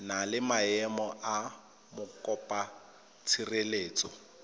na le maemo a mokopatshireletso